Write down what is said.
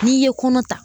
N'i ye kɔnɔ ta